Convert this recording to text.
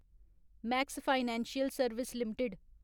max financial service limited